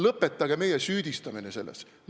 Lõpetage meie süüdistamine selles!